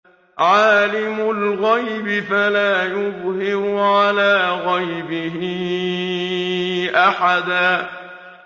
عَالِمُ الْغَيْبِ فَلَا يُظْهِرُ عَلَىٰ غَيْبِهِ أَحَدًا